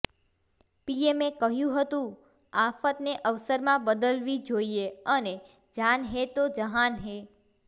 પીએમએ કહ્યું હતું આફતને અવસરમાં બદલવી જોઇએ અને જાન હે તો જહાન હે